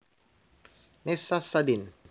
Nessa Sadin